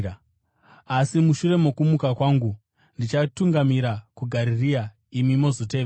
Asi mushure mokumuka kwangu, ndichatungamira kuGarirea imi mozotevera.”